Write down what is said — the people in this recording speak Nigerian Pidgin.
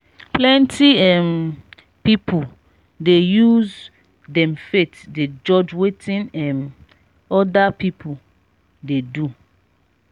plenty um pipu dey use dem faith dey judge wetin um other pipu dey do.